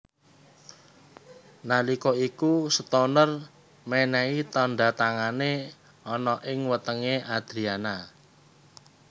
Nalika iku Stoner menehi tanda tangane ana ing wetenge Adriana